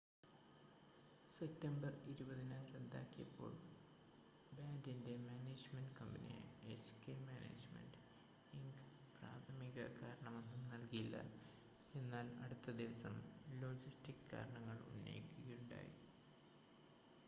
September 20-ന് റദ്ദാക്കിയപ്പോൾ ബാൻഡിൻ്റെ മാനേജ്മെൻ്റ് കമ്പനിയായ എച്ച്കെ മാനേജ്മെൻ്റ് ഇങ്ക് പ്രാഥമിക കാരണമൊന്നും നൽകിയില്ല എന്നാൽ അടുത്ത ദിവസം ലോജിസ്റ്റിക് കാരണങ്ങൾ ഉന്നയിക്കുകയുണ്ടായി